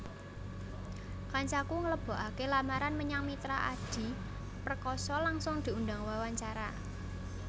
Kancaku nglebokake lamaran menyang Mitra Adi Perkasa langsung diundang wawancara